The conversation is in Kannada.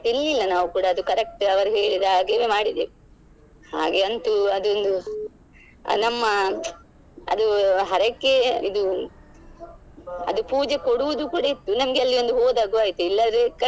ತಿನ್ಲಿಲ್ಲ ನಾವು ಕೂಡ ಅದು correct ಅವರು ಹೇಳಿದ ಹಾಗೆವೇ ಮಾಡಿದ್ದೇವೆ ಹಾಗೆ ಅಂತೂ ಅದೊಂದು ನಮ್ಮ ಅದು ಹರಕೆ ಇದು ಅದು ಪೂಜೆ ಕೊಡುದು ಕೂಡ ಇತ್ತು ನಮ್ಗೆ ಅಲ್ಲಿ ಒಂದು ಹೋದಾಗು ಆಯ್ತು ಇಲ್ಲದ್ರೆ.